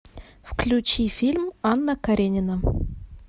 включи фильм анна каренина